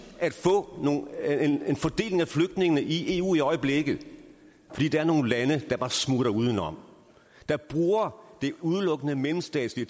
at få en fordeling af flygtningene i eu i øjeblikket fordi der er nogle lande der bare smutter uden om der bruger det udelukkende mellemstatslige